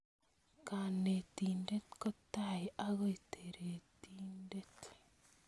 Kanetindet kotai ako taretindet